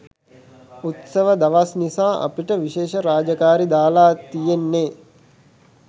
උත්සව දවස් නිසා අපිට විශේෂ රාජකාරි දාලා තියෙන්නේ